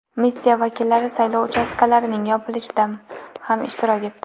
Missiya vakillari saylov uchastkalarining yopilishida ham ishtirok etdi.